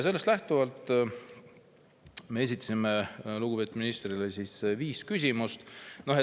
Sellest lähtuvalt me esitasime lugupeetud ministrile viis küsimust.